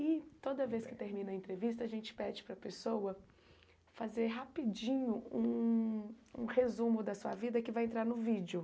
E toda vez que termina a entrevista, a gente pede para a pessoa fazer rapidinho um um resumo da sua vida que vai entrar no vídeo.